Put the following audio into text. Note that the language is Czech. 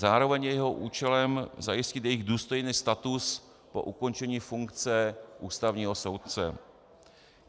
Zároveň je jeho účelem zajistit jejich důstojný status po ukončení funkce ústavního soudce.